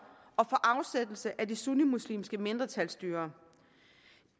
og for afsættelse af det sunnimuslimske mindretalsstyre